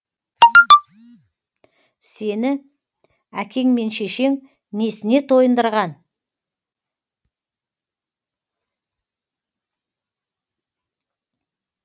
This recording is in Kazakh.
сені әкең мен шешең несіне тойындырған